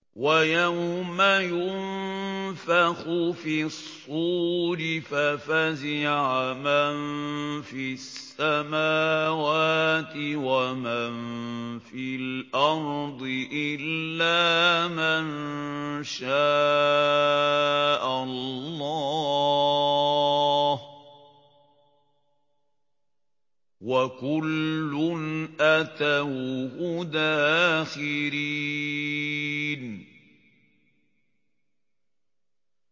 وَيَوْمَ يُنفَخُ فِي الصُّورِ فَفَزِعَ مَن فِي السَّمَاوَاتِ وَمَن فِي الْأَرْضِ إِلَّا مَن شَاءَ اللَّهُ ۚ وَكُلٌّ أَتَوْهُ دَاخِرِينَ